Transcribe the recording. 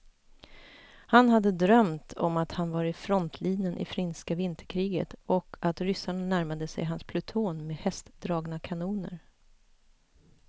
Han hade drömt om att han var i frontlinjen i finska vinterkriget och att ryssarna närmade sig hans pluton med hästdragna kanoner.